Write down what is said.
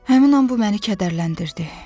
Həmin an bu məni kədərləndirdi.